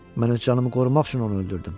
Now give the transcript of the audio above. Mən öz canımı qorumaq üçün onu öldürdüm.